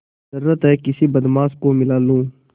जरुरत हैं किसी बदमाश को मिला लूँ